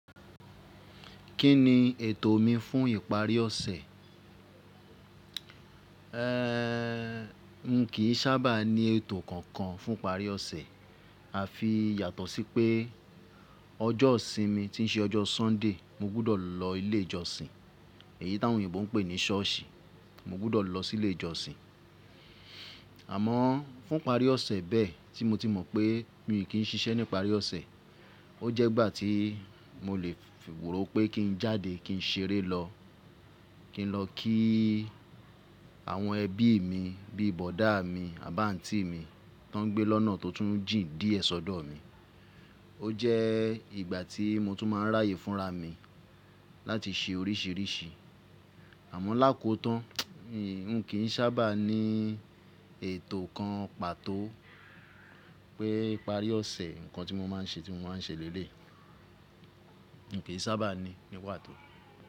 Kí ni ètò mi fún ìparí ọ̀sẹ̀? Ehn, n kìí sábà ní ètò kankan fún ìparí ọ̀sẹ̀, àfi yàtọ̀ sí pé ọjọ́ ìsinmi tí ń ṣe ọjọ́ Sunday mo gbudọ̀ lọ ilé ìjọsìn èyí táwọn oyinbo ń pè ní ṣọ́ọ̀sì. Mo gbọ́dọ̀ lọ sí ilé ìjọsìn. Àmọ́ fún ìparí ọ̀sẹ̀ bẹ́ẹ̀ tí mo ti mọ̀ pé mi ò kí ń ṣiṣẹ́ ní ìparí ọ̀sẹ̀, ó jẹ́ ìgbà tí mo lè rò pé kí ń jáde kí ń ṣeré lọ, kí ń lọ kí àwọn ẹbí mi bíi bọ̀dá mi, àbántí mi tó ń gbé lọ́nà tó tún jìn díẹ̀ sọ́dọ̀ mi. Ó jẹ́ ìgbà tí mo tún máa ń ráyè fúnra mi láti ṣe oríṣìíríṣìí. Àmọ́ lákòtán n kìí sábà ní ètò kan pàtó pé ìparí ọ̀sẹ̀ nǹkan tí mo máa ń ṣe tí mo máa ń ṣe lélẹ̀yi. N kìí sábà ní ní pàtó.